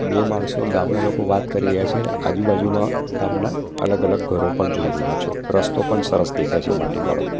બે માણસો ગામના લોકો વાત કરી રહ્યા છે અને આજુબાજુમાં ગામના અલગ અલગ ઘરો પણ જોઈ રહ્યા છો રસ્તો પણ સરસ દેખાય છે માટીવાળો.